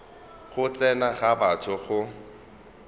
go tsena ga batho go